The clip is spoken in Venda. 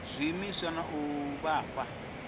zwiimiswa na u vha fha